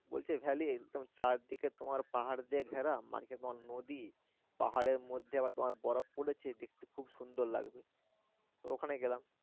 বলছে valley তেমন চারদিকে তোমার পাহাড় দিয়ে ঘেরা মাঝে তোমার নদী পাহাড়ের মধ্যে আবার তোমার বরফ পরেছে দেখতে খুব সুন্দর লাগবে ওখানে গেলাম।